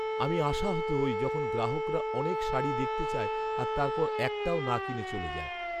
আমি আশাহত হই যখন গ্রাহকরা অনেক অনেক শাড়ি দেখতে চায় আর তারপর একটাও না কিনে চলে যায়।